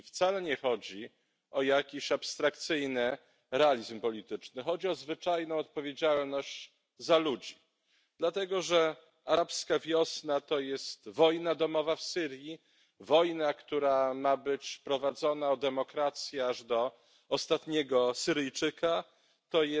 I wcale nie chodzi o jakiś abstrakcyjny realizm polityczny, lecz o zwyczajną odpowiedzialność za ludzi, dlatego że arabska wiosna to wojna domowa w Syrii, wojna, która ma być prowadzona o demokrację aż do ostatniego Syryjczyka, to